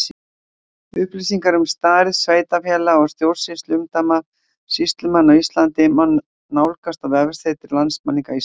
Upplýsingar um stærð sveitarfélaga og stjórnsýsluumdæma sýslumanna á Íslandi má nálgast á vefsetri Landmælinga Íslands.